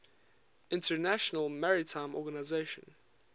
international maritime organization